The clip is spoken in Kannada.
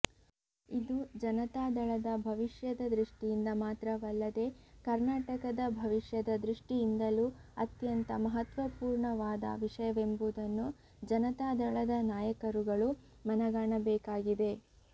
ಇದು ಜನತಾದಳದ ಭವಿಷ್ಯದ ದೃಷ್ಠಿಯಿಂದ ಮಾತ್ರವಲ್ಲದೆ ಕರ್ನಾಟಕದ ಭವಿಷ್ಯದ ದೃಷ್ಠಿಯಿಂದಲೂ ಅತ್ಯಂತ ಮಹತ್ವಪೂರ್ಣವಾದ ವಿಷಯವೆಂಬುದನ್ನು ಜನತಾದಳದ ನಾಯಕರುಗಳು ಮನಗಾಣಬೇಕಾಗಿದೆ